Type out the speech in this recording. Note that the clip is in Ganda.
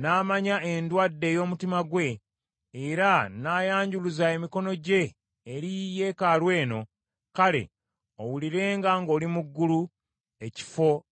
n’amanya endwadde ey’omu mutima gwe, era n’ayanjuluza emikono gye eri yeekaalu eno, kale owulirenga ng’oli mu ggulu, ekifo gy’obeera.